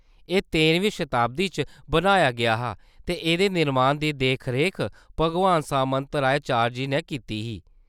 एह्‌‌ तेरमीं शताब्दी च बनाया गेआ हा, ते एह्‌‌‌दे निरमान दी देखरेख भागवान सामंतराय चारजी नै कीती ही।